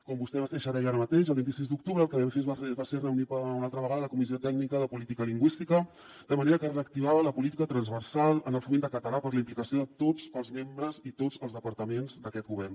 com vostè mateixa deia ara mateix el vint sis d’octubre el que vam fer va ser reunir una altra vegada la comissió tècnica de política lingüística de manera que es reactivava la política transversal en el foment del català per la implicació de tots els membres i tots els departaments d’aquest govern